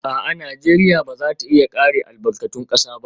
A'a, Najeriya ba za ta iya kare albarkatun kasa ba